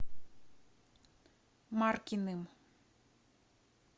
маркиным